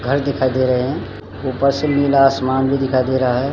घर दिखाई दे रहें हैं ऊपर से नीला आसमान भी दिखाई दे रहा है।